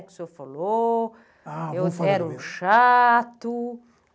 que o senhor falou, que era um chato?